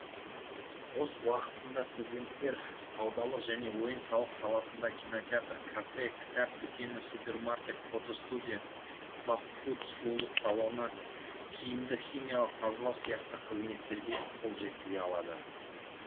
бос уақытында студенттер саудалық және ойын сауық саласында кинотеатр кафе кітап дүкені супермаркет фото студия фаст фуд сұлулық салоны киімді химиялық тазалау сияқты қызметтерге қол жеткізе алады